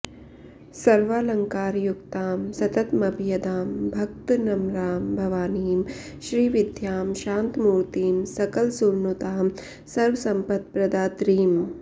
सर्वालङ्कारयुक्तां सततमभयदां भक्तनम्रां भवानीं श्रीविद्यां शान्तमूर्तिं सकलसुरनुतां सर्वसम्पत्प्रदात्रीम्